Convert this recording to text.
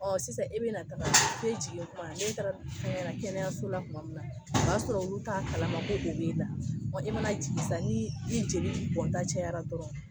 Ɔ sisan e bɛna taga fo e jigintuma n'e taara kɛnɛyaso la tuma min na o b'a sɔrɔ olu t'a kalama ko o b'e la ɔ e mana jigin sisan ni i joli bɔnta cɛyara dɔrɔn